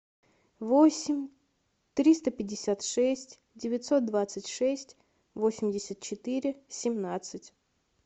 восемь триста пятьдесят шесть девятьсот двадцать шесть восемьдесят четыре семнадцать